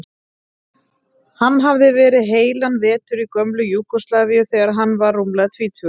Hann hafði verið heilan vetur í gömlu Júgóslavíu þegar hann var rúmlega tvítugur.